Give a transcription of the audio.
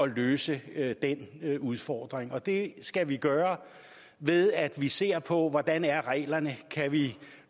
løse den udfordring og det skal vi gøre ved at vi ser på hvordan er reglerne kan vi